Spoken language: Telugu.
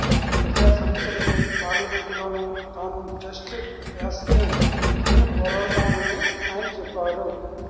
ప్రజా సమస్యలపై పార్లమెంటులోనూ తాను జస్ట్ యాస్కింగ్ అని పోరాడతానని ఆయన చెప్పారు